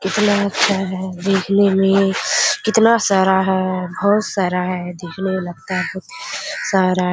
कितना अच्छा है देखने में कितना सारा है बहुत सारा है देखने में लगता है बहुत सारा --